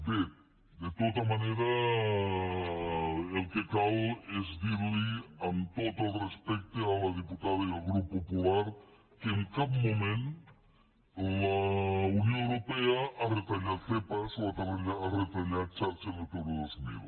bé de tota manera el que cal és dir li amb tot el respecte a la diputada i al grup popular que en cap moment la unió europea ha retallat zepa o ha retallat xarxa natura dos mil